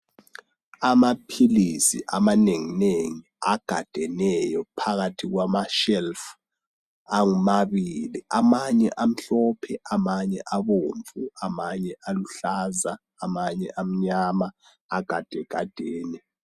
Amaphilisi amanenginengi, agadeneyo phakathi kwamashelufu amabili. Amanye amhlophe, amanye abomvu, amanye aluhlaza, amanye amnyama. Agadegadene.